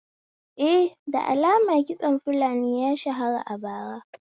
Eh, da lamar kitson fulani ya shara a bara